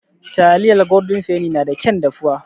Taliyar Goldin feni na da kyan dafuwa.